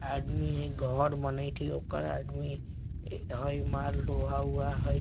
आदमी हई घर बनैत हई ओकर आदमी हई माल ढोआ उआ हई |